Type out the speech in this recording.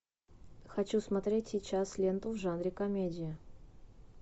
хочу смотреть сейчас ленту в жанре комедия